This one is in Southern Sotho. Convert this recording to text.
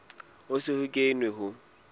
ho se ho kenwe ho